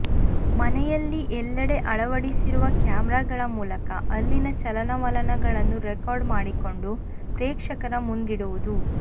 ಮನೆಯಲ್ಲಿ ಎಲ್ಲೆಡೆ ಅಳವಡಿಸಿರುವ ಕ್ಯಾಮೆರಾಗಳ ಮೂಲಕ ಅಲ್ಲಿನ ಚಲನವಲನಗಳನ್ನು ರೆಕಾರ್ಡ್ ಮಾಡಿಕೊಂಡು ಪ್ರೇಕ್ಷಕರ ಮುಂದಿಡುವುದು